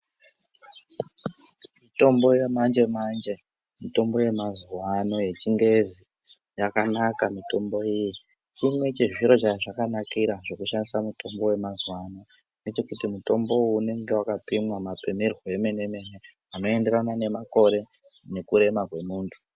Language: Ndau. Mitombo yamanje manje mitombo yemazuva ano yechingezi yakanaka mitombo iyi chiro chezviro chazvakanakira kuisa mutombo wemazuva ano zvemene mene anoenderana nemakore nekurema kwemuntu.